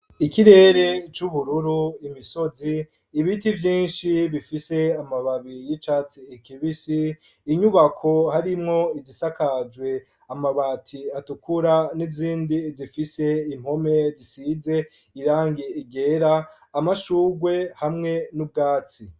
Ikirere c'ubururu imisozi n'ibiti vyinshi bifise amababi y'icatsi kibisi inyubako harimwo igisakajwe amabati atukura n'izindi zifise impome zisize irangi ryera, amashugwe hamwe n'ubwatsi.